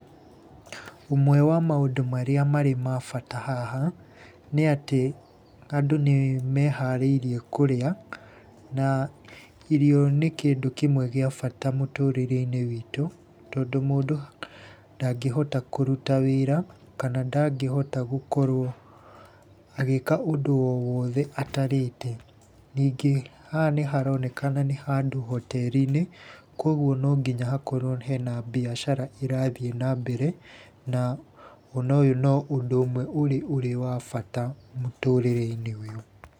Ũmwe wa maũndũ marĩa marĩ ma bata haha, nĩ atĩ, andũ nĩmeharĩirie kũrĩa na irio nĩ kĩndũ kĩmwe gĩa bata mũtũrĩre-inĩ witũ, tondũ mũndũ ndangĩhota kũruta wĩra kana ndangĩhota gũkorwo agĩka ũndũ o wothe atarĩte. Ningĩ haha nĩharonekana nĩ handũ hoteri-inĩ koguo no nginya hakorwo hena mbiacara ĩrathiĩ na mbere, na ona ũyũ no ũndũ ũmwe ũrĩ wa bata mũtũrĩre-inĩ ũyũ.